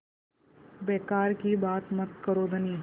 बेकार की बात मत करो धनी